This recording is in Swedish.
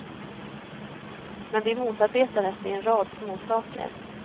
Men vi motarbetades i en rad småsaker.